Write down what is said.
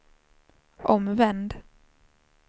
omvänd